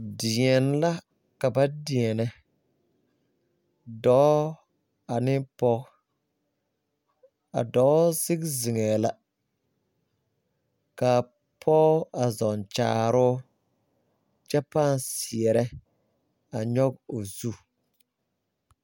Deɛn la kaba deɛne doɔ ane poɔ a doɔ sigi zengɛɛ la kaa poɔ a zunkyaaroo kye pãã seɛra nyuge ɔ zu.